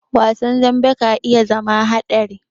Wasan dambe ka iya zama haɗari.